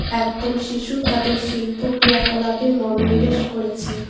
একদল শিশু তাদের শিল্প ক্রিয়াকলাপে মনোনিবেশ করেছে।